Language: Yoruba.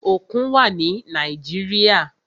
Òkun wà ni Nàíjíríà.